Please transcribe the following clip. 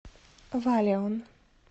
валеон